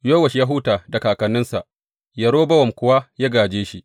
Yowash ya huta da kakanninsa, Yerobowam kuwa ya gāje shi.